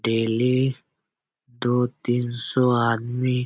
daily दो तीन सौ आदमी --